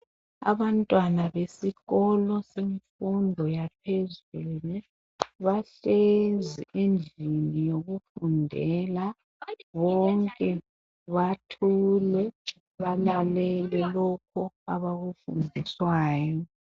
Abantwana besikolo semfundo yaphezulu bahlezi endlini yokufundela bonke bathulele balalele lokho abakufundiswayo.